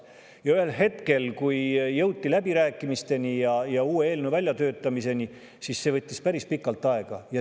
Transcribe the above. Ja ühel hetkel, kui jõuti läbirääkimisteni ja uue eelnõu väljatöötamiseni, siis see võttis päris pikalt aega.